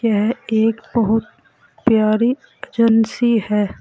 यह एक बहुत प्यारी एजेंसी है।